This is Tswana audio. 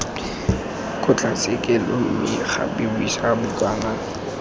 kgotlatshekelo mme gape buisa bukana